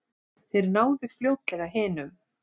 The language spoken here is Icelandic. Þeir náðu fljótlega hinum.